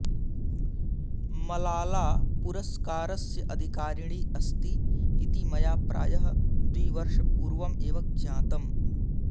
मलाला पुरस्कारस्य अधिकारिणी अस्ति इति मया प्रायः द्विवर्षपूर्वम् एव ज्ञातम्